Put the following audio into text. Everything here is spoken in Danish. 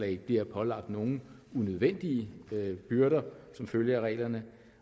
ikke bliver pålagt nogle unødvendige byrder som følge af reglerne